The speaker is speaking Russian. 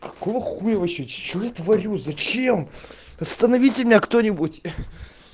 какого хуя вообще что я творю зачем остановите меня кто-нибудь